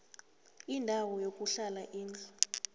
indawo yokuhlala indlu